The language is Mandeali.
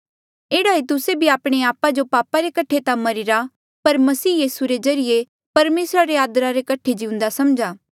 एह्ड़ा ई तुस्से भी आपणे आपा जो पापा रे कठे ता मरिरा पर मसीह यीसू रे ज्रीए परमेसरा रे आदरा रे कठे जिउंदा समझा